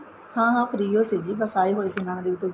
ਹਾਂ ਹਾਂ free ਓ ਸੀਗੀ ਬੱਸ ਆਏ ਹੋਏ ਸੀ ਨੈਨਾਂ ਦੇਵੀ ਤੋਂ